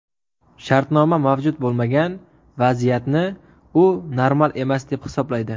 Shartnoma mavjud bo‘lmagan vaziyatni u normal emas, deb hisoblaydi.